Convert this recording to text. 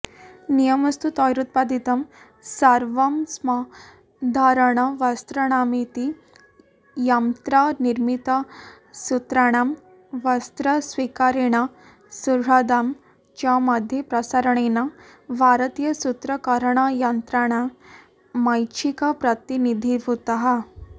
नियमस्तु तैरुत्पादितं सर्वमस्मद्धारणवस्त्राणामिति यंत्रनिर्मितसूत्राणां वस्त्रस्वीकारेण सुह्रदां च मध्ये प्रसारणेन भारतीयसूत्रकरणयंत्राणामैच्छिकप्रतिनिधीभूताः